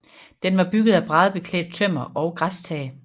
Den var bygget af bræddeklædt tømmer og græstag